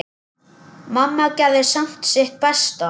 Mamma gerði samt sitt besta.